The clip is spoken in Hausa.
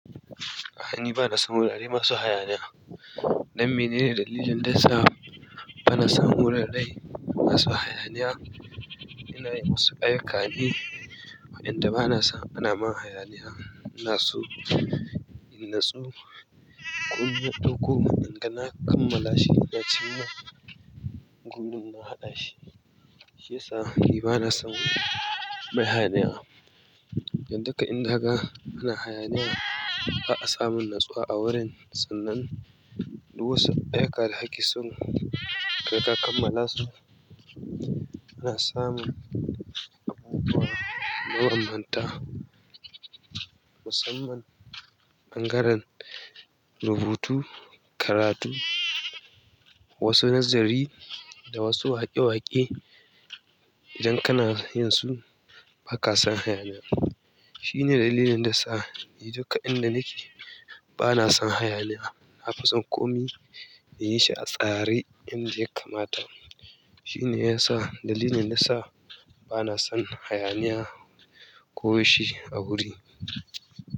Ah ni, ba na son wurare masu hayaniya. Dan mene ne dalilin da yasa ba na son wuraren masu hayaniya? Ina yin wasu ayyuka ne. Inda ba na son ana mun hayaniya, ina so in natsu. Komi na ɗakko nakanga na kammala shi ina cimma gurin na haɗa shi. Shi ya sa ni ba na son hayaniya. Don duka inda kaga ana hayaniya, ba a samu natsuwa a wurin. Sannan duk wasu ayyuka da kake son kaga ka kammalasu ana samun abubuwa mabanbanta. Musamman ɓangaren rubutu, karatu, wasu nazari da wasu waƙe-waƙe. Idan kana yinsu baka son hayaniya shine dalilin da yasa ni duk inda nake bana son hayaniya na fi son komai in yi shi a tsare inda ya kamata. Shi ne ya sa, dalilin da ya sa ba na son hayaniya ko shi a wuri.